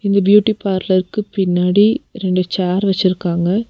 இந்த பியூட்டி பார்லருக்கு பின்னாடி ரெண்டு சேர் வச்சுருக்காங்க.